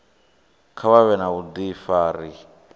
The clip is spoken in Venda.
kha vha vhe na vhudifari